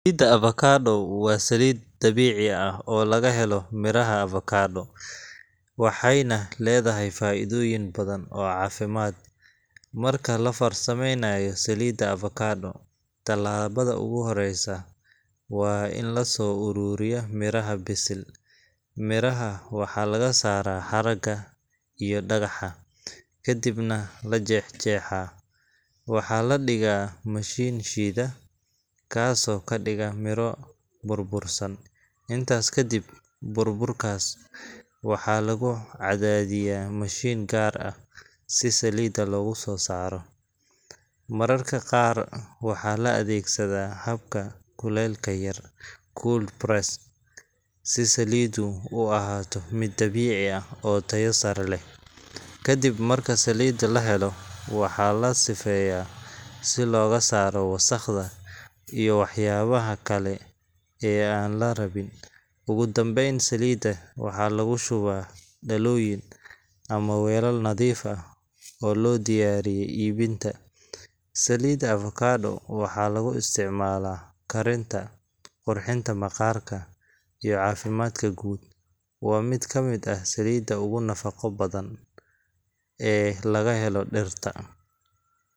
Saliidda avocado waa saliid dabiici ah oo laga helo miraha avocado, waxayna leedahay faa’iidooyin badan oo caafimaad. Marka la farsameynayo saliidda avocado, talaabada ugu horreysa waa in la soo ururiyo miraha bisil. Miraha waxaa laga saaraa haragga iyo dhagaxa, kadibna la jeexjeexaa. Waxaa la dhigaa mashiin shiida, kaasoo ka dhiga miro burbursan. Intaas kadib, burburkaas waxaa lagu cadaadiyaa mashiin gaar ah si saliidda loogu soo saaro. Mararka qaar waxaa la adeegsadaa habka kulaylka yar cold press si saliiddu u ahaato mid dabiici ah oo tayo sare leh. Kadib marka saliidda la helo, waxaa la sifeeyaa si looga saaro wasakhda iyo waxyaabaha kale ee aan la rabin. Ugu dambeyn, saliidda waxaa lagu shubaa dhalooyin ama weelal nadiif ah oo loo diyaariyey iibinta. Saliidda avocado waxaa lagu isticmaalaa karinta, qurxinta maqaarka, iyo caafimaadka guud. Waa mid ka mid ah saliidaha ugu nafaqo badan ee laga helo dhirta.